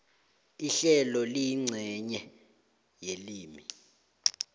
ihlelo liyincenye yelimi